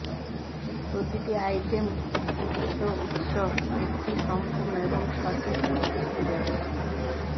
প্রতিটি আইটেম উৎস উৎস একটি সম্পূর্ণ এবং সঠিক উদ্ধৃতি ব্যবহৃত